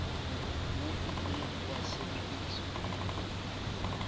moo o ile wa sebediswa